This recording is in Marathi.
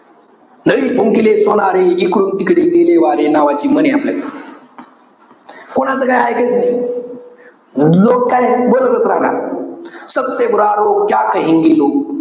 लै भुंकिले सोनारे, इकडून तिकडे गेले वारे. नावाची म्हण आहे आपल्याकडे. कोणाचा काही इकायचं नाही. जो काय, बोलतच राहणार.